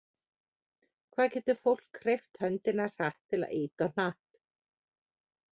Hvað getur fólk hreyft höndina hratt til að ýta á hnapp?